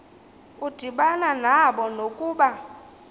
udibana nabo nokuba